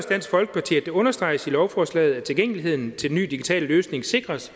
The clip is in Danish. dansk folkeparti at det understreges i lovforslaget at tilgængeligheden til den nye digitale løsning sikres